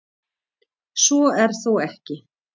Svo er þó ekki.